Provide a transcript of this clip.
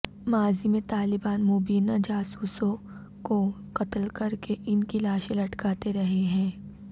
ماضی میں طالبان مبینہ جاسوسوں کو قتل کر کے ان کی لاشیں لٹکاتے رہے ہیں